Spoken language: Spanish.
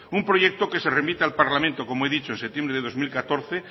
un proyecto que se remite al parlamento como he dicho en septiembre de dos mil catorce